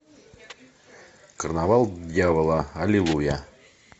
карнавал дьявола аллилуйя